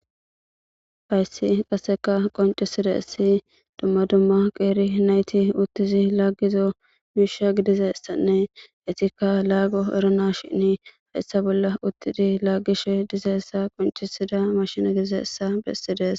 hayssi qaseka qoncisida essi dumma dumma qeeri nayti uttizi laaggizo miisha gidizessanne etikka laago erona shinni hayssa bolla uttidi laaggish dizeessa qoncisida mashina gidizeessa bessides